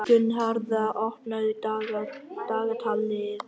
Gunnharða, opnaðu dagatalið mitt.